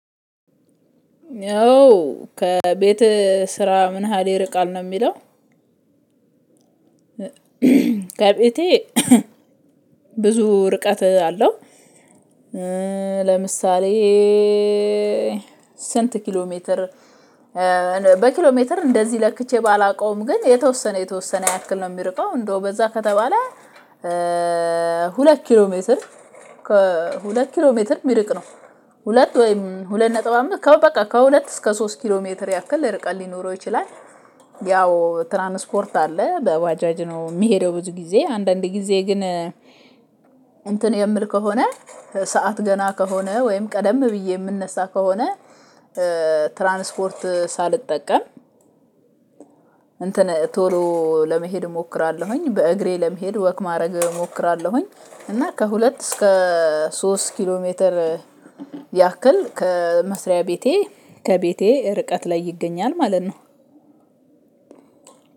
ያው ከቤት ስራ ምን ያህል ይርቃል ነው የሚለው? ከቤቴ ብዙ ርቀት አለው። ለምሳሌ ስንት ኪሎ ሜትር? በኪሎ ሜትር እንደዚህ ለክቼ ባላውቀውም ግን የተወሰነ የተወሰነ ያክል ነው። የሚርቀው እንደው በዛ ከተባለ። ሁለት ኪሎ ሜትር ሁለት ኪሎ ሜትር የሚርቅ ነው። ሁለት ወይም ሁለት ነጥብ አመት ከሁለት እስከ ሶስት ኪሎ ሜትር ያክል ርቀት ሊኖረው ይችላል። ያው ትራንስፖርት አለ በዋጃጅ ነው የሚሄደው ብዙ ጊ፤ አንዳንድ ጊዜ ግን። እንትን የምል ከሆነ ሰዓት ገና ከሆነ ወይም ቀደም ብዬ የምነሳ ከሆነ። ትራንስፖርት ሳልጠቀም እንትን ቶሎ ለመሄድ እሞክራለሁኝ በእግሬ ለመሄድ ወክ ማድረግ እሞክራለሁኝ። እና ከሁለት እስከ ሶስት ኪሎ ሜትር ያክል ከመስሪያ ቤቴ ከቤቴ ርቀት ላይ ይገኛል ማለት ነው።